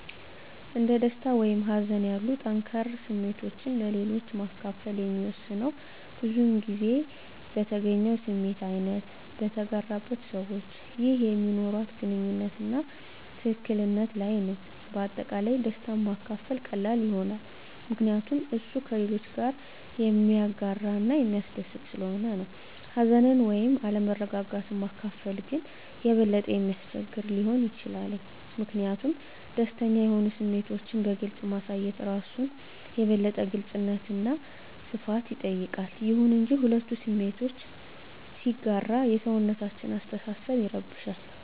አንድ ደስታ ወይም ሀዘን ያሉ ጠንከር ስሜቶችን ለሌሎች ማከፈል የሚወሰነው የብዙዉን ጊዜ በተገኘው ስሜት አይነት፣ በተጋራበት ሰዋች ይህ በሚኖርዋት ግንኙነት አና ትክክል ነት ለይ ነዉ። በአጠቃላይ ደስታን ማካፈል ቀላል ይሆናል ምከንያቱም እሱ ከሌሎች ጋረ የሚያጋረ እና የሚስደስት ሰለሆነ ነው። ሀዘንን ወይም አለመረጋጋት ማካፈል ግን የበለጠ የሚያስቸግር ሊሆን ይችላል ሚኪንያቱም ደስተኛ የሆኑ ስሜቶችን በግልፅ ማሳየት እራሱን የበለጠ የግልጽነት አና ሰፋት ይጠይቃል። ይሁን እንጂ፣ ሁለቱ ስሜቶችን ሲጋራ የሰውነታችን አሰተሳሰብ ይረብሻል